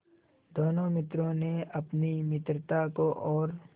दोनों मित्रों ने अपनी मित्रता को और